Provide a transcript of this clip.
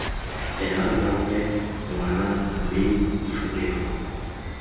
ena rraagwe ngwana mme ditlhokego